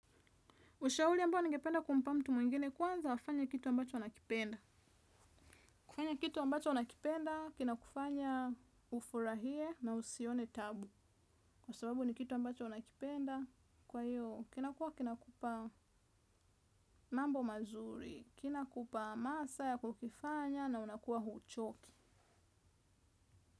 Ushauri ambao ningependa kumpa mtu mwingine kwanza afanye kitu ambacho anakipenda. Kufanya kitu ambacho unakipenda, kina kufanya ufurahie na usione tabu. Kwa sababu ni kitu ambacho unakipenda, kwa hiyo kinakuwa kinakupa mambo mazuri, kinakupa masa ya kukifanya na unakua huchoki.